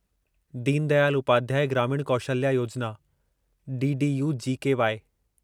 दीन दयाल उपाध्याय ग्रामीण कौशल्या योजिना डीडीयू जीकेवाई